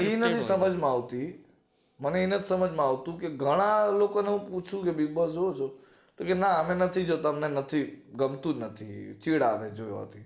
સમજ માં આવતી મને એ નથી સમજ માં આવતું કે ઘણા લોકો ને હું પૂછું છુ કે bigboss જોવો છો તો કે ના અમે નથી જોતા અમને ગમતું જ નથી ચીડ આવે છે જોવાથી